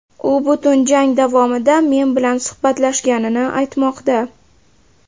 U butun jang javomida men bilan suhbatlashganini aytmoqda.